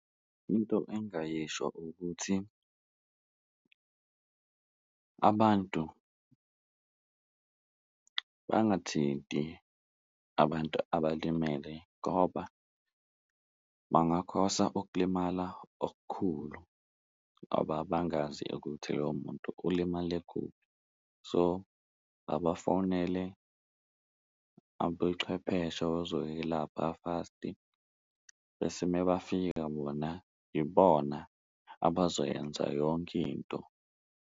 Into engayisho ukuthi abantu bangathinti abantu abalimele ngoba bangakhosa ukulimala okukhulu ngoba bangazi ukuthi loyo muntu ulimale kuphi, so abafonele abochwepheshe abazowelapha fast-i. Bese uma befika bona ibona abazoyenza yonke into.